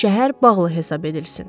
Şəhər bağlı hesab edilsin.